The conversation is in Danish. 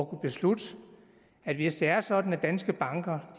kunne beslutte at hvis det er sådan at danske banker